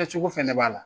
Kɛ cogo fɛnɛ b'a la